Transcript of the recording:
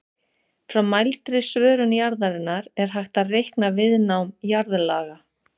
Frá mældri svörun jarðarinnar er hægt að reikna viðnám jarðlaga.